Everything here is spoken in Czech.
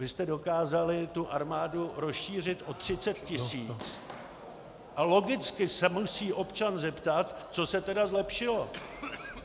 Vy jste dokázali tu armádu rozšířit o 30 tisíc a logicky se musí občan zeptat, co se tedy zlepšilo.